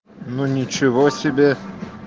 ну ничего себе